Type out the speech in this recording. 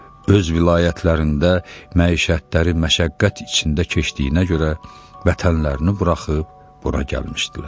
Öz vilayətlərində məişətləri məşəqqət içində keçdiyinə görə vətənlərini buraxıb bura gəlmişdilər.